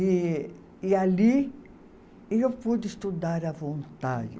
E e ali eu pude estudar à vontade.